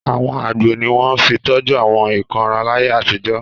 Àwọn àgbo ni wọ́n fi tọ́jú àwọn ìkóràn láyé àtijọ́.